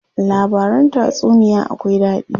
Labaran tatsuniya akwai daɗi.